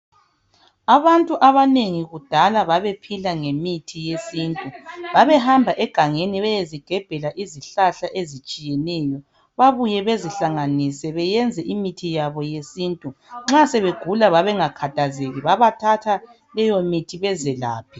Abantu abanengi kudala babephila ngemithi yesintu babehamba egangeni beyezigebhela izihlahla ezitshiyeneyo babuye bezihlanganise benze imithi yabo yesintu nxa sebegula babengakhathezeki babethatha leyi mithi bezelaphe